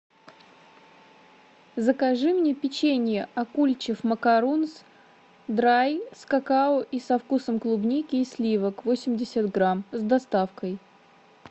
закажи мне печенье акульчев макарунс драй с какао и со вкусом клубники и сливок восемьдесят грамм с доставкой